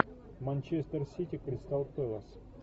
манчестер сити кристал пэлас